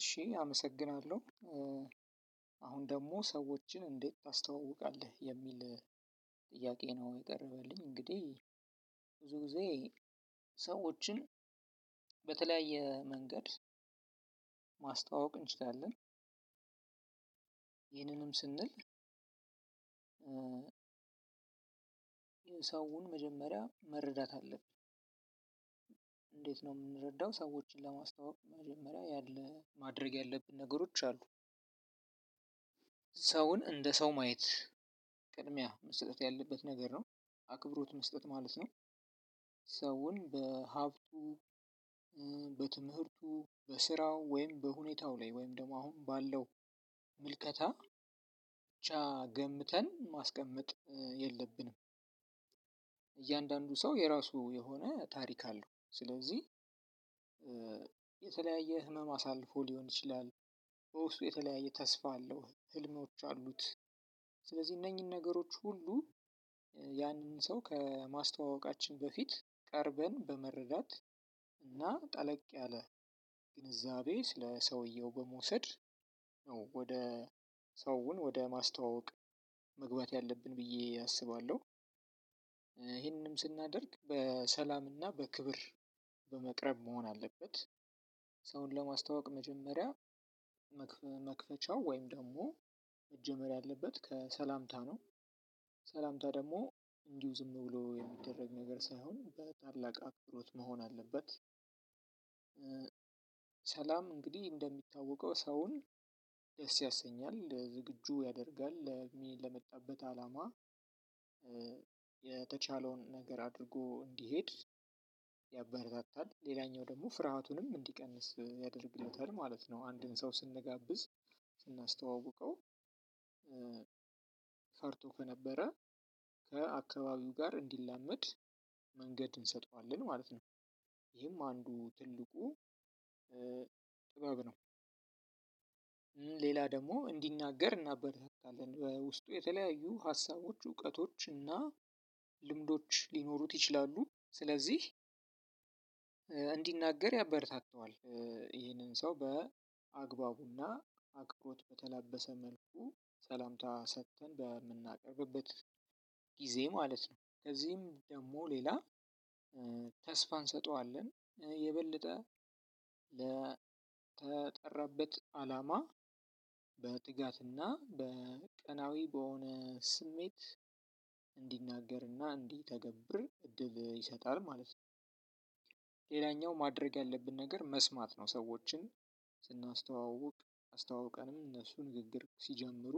እሺ አመሰግናለሁ። አሁን ደግሞ ሰዎችን እንዴት ታስተዋውቃለህ የሚል? ጥያቄ ነው የቀረበልኝ እንግዲህ ብዙ ጊዜ ሰዎችን በተለያየ መንገድ ማስተዋወቅ እንችላለን። ይህንንም ስንል ሰውን መጀመሪያ መረዳት አለብን። እንዴት ነው የምንረዳው? ሰዎችን ለማስታወቅ መጀመሪያ ያለ ማድረግ ያለብኝ ነገሮች አሉ። ሰውን እንደ ሰው ማየት ቅድሚያ መስጠት ያለበት ነገር ነው። አክብሮት መስጠት ማለት ነው። ሰውን በሀብቱ በትምህርቱ በስራው ወይም በሁኔታው ላይ ወይም ደግሞ አሁን ባለው ምልከታ ብቻ ገምተን ማስቀመጥ የለብንም። እያንዳንዱ ሰው የራሱ የሆነ ታሪክ አለው። ስለዚህ የተለያየ ህመም አሳልፎ ሊሆን ይችላል። በውስጡ የተለያየ ተስፋ አለው ህልሞች አሉት። ስለዚህ እነኚህን ነገሮች ሁሉ ያንን ሰው ከማስተዋወቃችን በፊት ቀርበን በመረዳት እና ጠለቅ ያለ ግንዛቤ ስለ ሰውየው በመውሰድ ነው። ሰውን ወደ ማስተዋወቅ መግባት ያለብን ብዬ አስባለሁ። ስናደርግ በሰላምና በክብር በመቅረብ መሆን አለበት። ሰውን ለማስተዋወቅ መጀመሪያ መክፈቻው ወይም ደግሞ መጀመር ያለበት ከሰላምታ ነው። ሰላምታ ደግሞ እንዲሁ ዝም ብሎ የሚደረግ ነገር ሳይሆን በታላቅ አክብሮት መሆን አለበት። ሰላም እንግዲህ እንደሚታወቀው ሰውን ደስ ያሰኛል ዝግጁ ያደርጋል ለመጣበት አላማ የተቻለውን ነገር አድርጎ እንዲሄድ ያበረታታል ሌላኛው ደግሞ ፍርሃቱንም እንዲቀንስ ያደርግለታል ማለት ነው። አንድን ሰው ስንጋብዝ ስናስተዋውቀው ፈርቶ ከነበረ ከአካባቢው ጋር እንዲላመድ መንገድ እንሰጠዋለን ማለት ነው። ይሄም አንዱ ትልቁ ጥበብ ነው። ሌላ ደግሞ እንዲናገር እናበረታታለን በውስጡ የተለያዩ ሀሳቦች እውቀቶች እና ልምዶች ሊኖሩት ይችላሉ። ስለዚህ እንዲናገር ያበረታታዋል። ይሄንን ሰው በአግባቡና አክብሮት በተላበሰ መልኩ ሰላምታ ሰጥተን በምናቀርብበት ጊዜ ማለት ነው። ከዚህም ደግሞ ሌላ ተስፋ እንሰጠዋለን። የበለጠ ለተጠራበት አላማ በትጋትና በቀናዊ በሆነ ስሜት እንዲናገርና እንዲተገብር እድብ ይሰጣል ማለት ነው። ሌላኛው ማድረግ ያለብን ነገር መስማት ነው። ሰዎችን ስናስተዋውቅ አስተዋውቀንም እነሱ ንግግር ሲጀምሩ